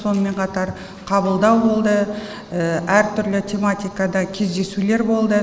сонымен қатар қабылдау болды әртүрлі тематикада кездесулер болды